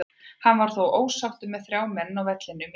Hann var þó ósáttur með þrjá menn á vellinum í dag.